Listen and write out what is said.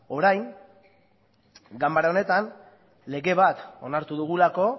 orain ganbara honetan lege bat onartu dugulako